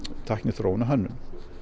tækniþróun og hönnun